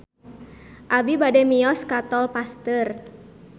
Abi bade mios ka Tol Pasteur